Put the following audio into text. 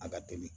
A ka teli